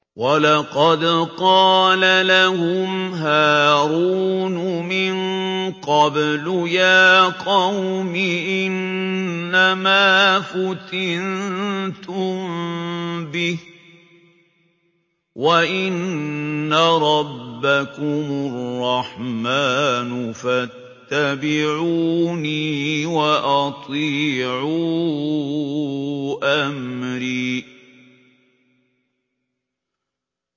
وَلَقَدْ قَالَ لَهُمْ هَارُونُ مِن قَبْلُ يَا قَوْمِ إِنَّمَا فُتِنتُم بِهِ ۖ وَإِنَّ رَبَّكُمُ الرَّحْمَٰنُ فَاتَّبِعُونِي وَأَطِيعُوا أَمْرِي